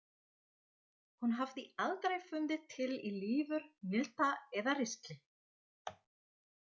Hún hafði aldrei fundið til í lifur, milta eða ristli.